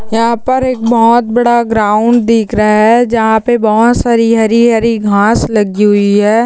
यहाँ पर एक बहुत बड़ा ग्राउंड दिख रहा है जहाँ पे बहुत सारी हरी हरी घास लगी हुई है।